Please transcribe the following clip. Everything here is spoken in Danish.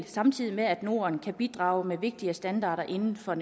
samtidig med at norden kan bidrage med vigtige standarder inden for